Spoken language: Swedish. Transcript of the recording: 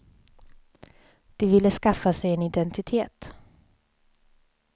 De ville skaffa sig en identitet.